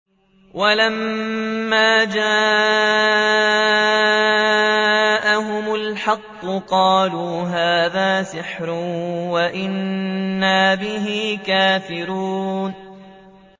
وَلَمَّا جَاءَهُمُ الْحَقُّ قَالُوا هَٰذَا سِحْرٌ وَإِنَّا بِهِ كَافِرُونَ